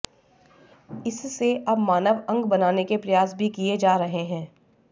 इससे अब मानव अंग बनाने के प्रयास भी किये जा रहे हैं